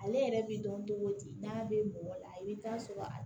Ale yɛrɛ bi dɔn cogo di n'a bɛ mɔgɔ la i bi taa sɔrɔ